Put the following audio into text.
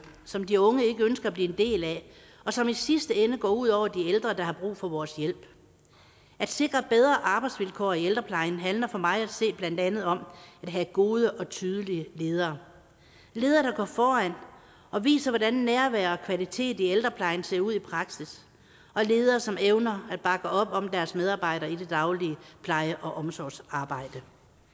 som de unge ikke ønsker at blive en del af og som i sidste ende går ud over de ældre der har brug for vores hjælp at sikre bedre arbejdsvilkår i ældreplejen handler for mig at se blandt andet om at have gode og tydelige ledere ledere der går foran og viser hvordan nærvær og kvalitet i ældreplejen ser ud i praksis ledere som evner at bakke op om deres medarbejdere i det daglige pleje og omsorgsarbejde